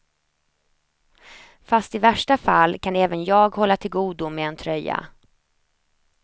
Fast i värsta fall kan även jag hålla tillgodo med en tröja.